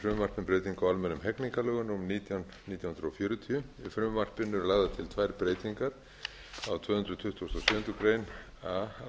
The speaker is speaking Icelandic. almennum hegningarlögum númer nítján nítján hundruð fjörutíu í frumvarpinu eru lagðar til tvær breytingar á tvö hundruð tuttugustu og sjöundu grein